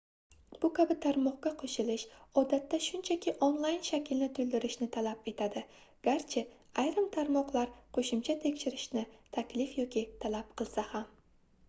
bu kabi tarmoqqa qoʻshilish odatda shunchaki onlayn shaklni toʻldirishni talab etadi garchi ayrim tarmoqlar qoʻshimcha tekshirishni taklif yoki talab qilsa ham